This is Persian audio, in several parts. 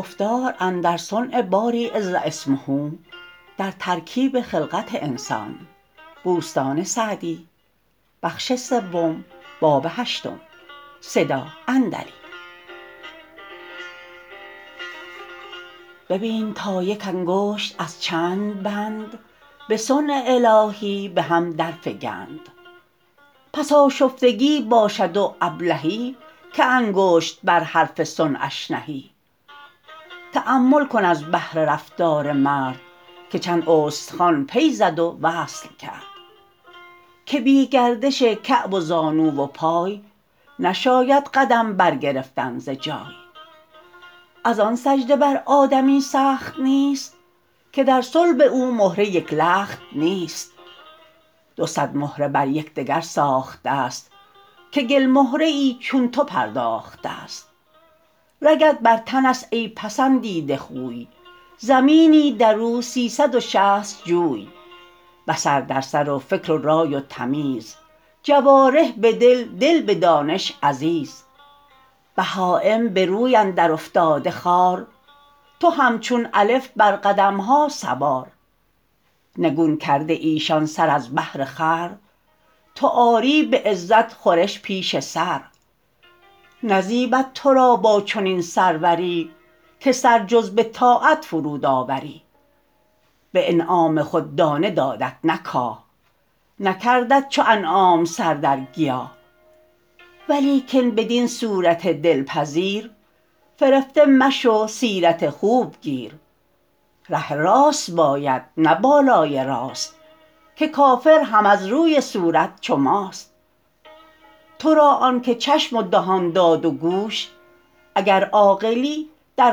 ببین تا یک انگشت از چند بند به صنع الهی به هم در فگند پس آشفتگی باشد و ابلهی که انگشت بر حرف صنعش نهی تأمل کن از بهر رفتار مرد که چند استخوان پی زد و وصل کرد که بی گردش کعب و زانو و پای نشاید قدم بر گرفتن ز جای از آن سجده بر آدمی سخت نیست که در صلب او مهره یک لخت نیست دو صد مهره بر یکدگر ساخته ست که گل مهره ای چون تو پرداخته ست رگت بر تن است ای پسندیده خوی زمینی در او سیصد و شصت جوی بصر در سر و فکر و رای و تمیز جوارح به دل دل به دانش عزیز بهایم به روی اندر افتاده خوار تو همچون الف بر قدمها سوار نگون کرده ایشان سر از بهر خور تو آری به عزت خورش پیش سر نزیبد تو را با چنین سروری که سر جز به طاعت فرود آوری به انعام خود دانه دادت نه کاه نکردت چو انعام سر در گیاه ولیکن بدین صورت دلپذیر فرفته مشو سیرت خوب گیر ره راست باید نه بالای راست که کافر هم از روی صورت چو ماست تو را آن که چشم و دهان داد و گوش اگر عاقلی در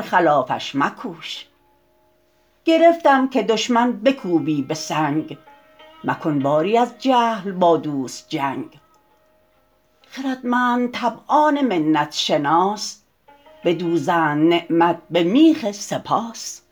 خلافش مکوش گرفتم که دشمن بکوبی به سنگ مکن باری از جهل با دوست جنگ خردمند طبعان منت شناس بدوزند نعمت به میخ سپاس